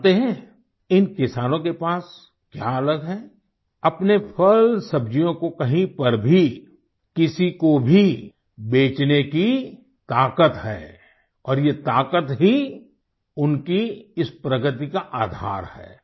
जानते हैं इन किसानों के पास क्या अलग है अपने फलसब्जियों को कहीं पर भी किसी को भी बेचने की ताकत है और ये ताकत ही उनकी इस प्रगति का आधार है